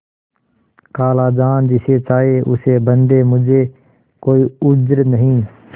खालाजान जिसे चाहें उसे बदें मुझे कोई उज्र नहीं